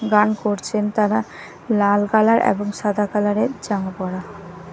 গান করছেন তারা লাল কালার এবং সাদা কালার -এর জামা পরা।